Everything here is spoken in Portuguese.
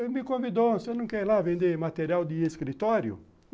Ele me convidou, você não quer ir lá vender material de escritório?